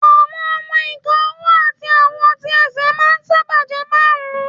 Àwọn ọmọ-ìka ọwọ́ àti àwọn tí ẹsẹ̀ máà ń sáábà jẹ́ márùn